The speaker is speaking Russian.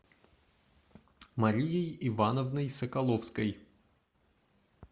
марией ивановной соколовской